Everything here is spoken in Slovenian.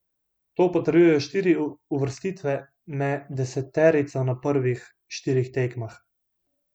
To potrjujejo štiri uvrstitve me deseterico na prvih štirih tekmah.